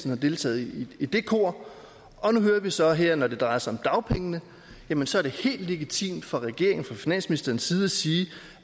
har deltaget i det kor og nu hører vi så her at når det drejer sig om dagpengene jamen så er det helt legitimt fra regeringen og fra finansministerens side at sige